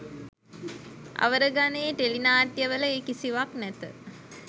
අවර ගණයේ ටෙලිනාට්‍යවල ඒ කිසිවක් නැත